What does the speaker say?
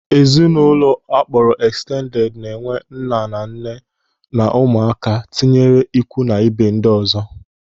Ezinụlọ akpọrọ ekstended na-enwe nne, nna na ụmụaka tinyere ikwu na ibe ndị ọzọ.